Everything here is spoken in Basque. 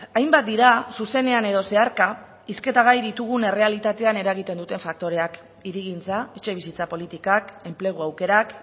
hainbat dira zuzenean edo zeharka hizketa gai ditugun errealitatean eragiten duten faktoreak hirigintza etxebizitza politikak enplegu aukerak